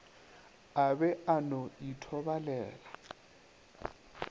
a be a no ithobalela